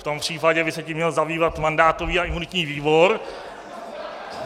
V tom případě by se tím měl zabývat mandátový a imunitní výbor.